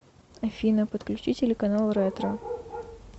афина подключи телеканал ретро